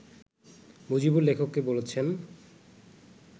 মজিবুর লেখককে বলছেন